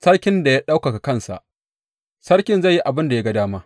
Sarkin da ya ɗaukaka kansa Sarkin zai yi abin da ya ga dama.